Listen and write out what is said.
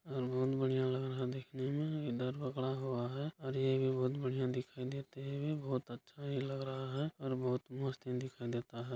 और बहुत बढ़िया लग रहा दिखने में इधर पकड़ा हुआ है और ये भी बहुत बढ़िया दिखाई देते हुए बहुत अच्छा ये लग रहा है और बहुत मस्त ये दिखाई देता है।